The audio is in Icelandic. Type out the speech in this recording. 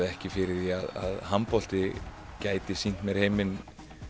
ekki fyrir því að handbolti gæti sýnt mér heiminn